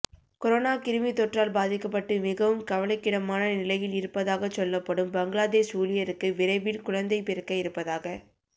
corona கிருமித்தொற்றால் பாதிக்கப்பட்டு மிகவும் கவலைக்கிடமான நிலையில் இருப்பதாகச் சொல்லப்படும் பங்ளாதேஷ் ஊழியருக்கு விரைவில் குழந்தை பிறக்க இருப்பதாகச்